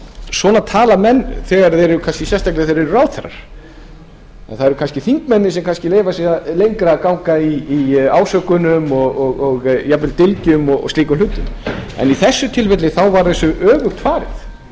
svona tala menn sérstaklega þegar þeir kannski eru ráðherrar og það eru kannski þingmenn sem leyfa sér að ganga lengra í ásökunum og jafnvel dylgjum og slíkum hlutum en í þessu tilfelli var þessu öfugt farið hér